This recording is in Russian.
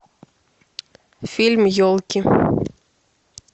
фильм елки